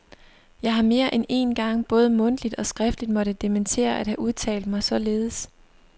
Jeg har mere end én gang både mundtligt og skriftligt måtte dementere at have udtalt mig således.